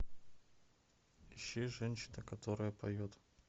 ищи женщина которая поет